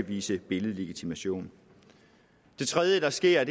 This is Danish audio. vise billedlegitimation det tredje der sker